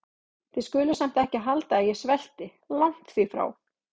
Þið skuluð samt ekki halda að ég svelti- langt því frá.